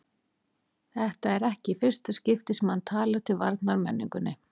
Þetta er ekki í fyrsta skipti sem hann talar til varnar menningunni.